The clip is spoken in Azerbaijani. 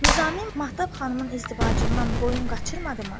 Nizami Mahtab xanımın izdivacından boyun qaçırmadı mı?